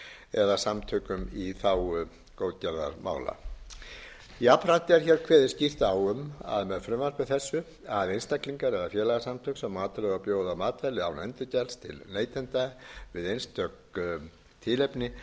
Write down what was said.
eða samtökum í þágu góðgerðarmála jafnframt er hér kveðið skýrt á um það með frumvarpi þessu að einstaklingar eða félagasamtök sem matreiða og bjóða matvæli án endurgjalds til neytenda við einstök tilefni